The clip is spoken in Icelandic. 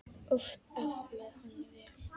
Oft aflaði hann vel.